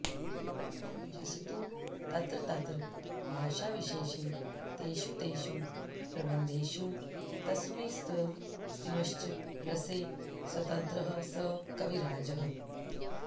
यस्तु तत्र तत्र भाषाविशेषे तेषु तेषु प्रबन्धेषु तस्मिंस्तस्मिंश्च रसे स्वतन्त्रः स कविराजः